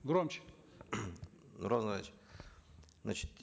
громче нурлан зайроллаевич значит